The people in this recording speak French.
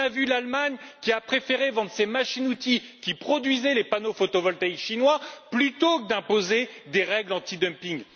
L'Allemagne a préféré vendre ses machines outils qui produisaient les panneaux photovoltaïques chinois plutôt qu'imposer des règles antidumping.